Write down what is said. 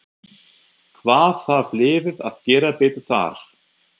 Hvað þarf liðið að gera betur þar?